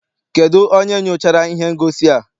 Kedụ onye nyochara ihe ngosi a?